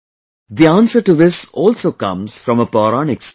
The answer to this also comes from a Pauranik story